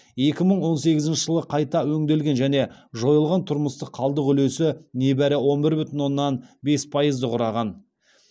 екі мың он сегізінші жылы қайта өңделген және жойылған тұрмыстық қалдық үлесі небәрі он бір бүтін оннан бес пайызды құраған